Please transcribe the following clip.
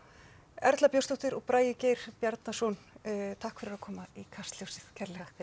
Erla Björnsdóttir og Bragi Geir Bjarnason takk fyrir að koma í Kastljósið kærlega takk fyrir